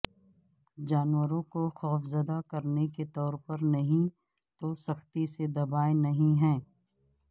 جانور کو خوفزدہ کرنے کے طور پر نہیں تو سختی سے دبائیں نہیں ہے